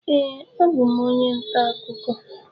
Ee, abụ m onye nta akụkọ.